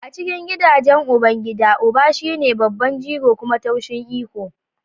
A cikin gidajen ubangida, uba shine babban jigo kuma tushen iko.